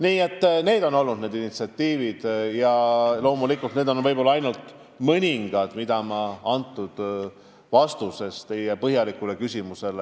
Nii et need on olnud need initsiatiivid ja loomulikult need on ainult mõningad, mida ma käsitlesin vastuses teie põhjalikule küsimusele.